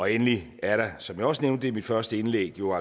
endelig er der som jeg også nævnte i mit første indlæg jo